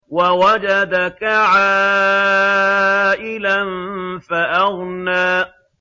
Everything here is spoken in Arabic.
وَوَجَدَكَ عَائِلًا فَأَغْنَىٰ